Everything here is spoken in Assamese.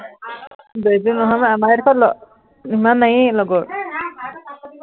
বেছি দূৰ নহয় বাৰু, আমাৰ এইডোখৰত আহ ইমান নায়েই লগৰ